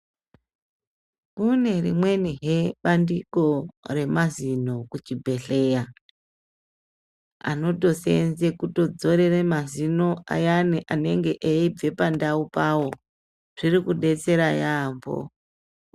Kune rimweni he bandiko remazino kuchibhedhlera a anotosenza kudzorera mazino ayani anenge eibve pandaupo zviri kudetsera yambo.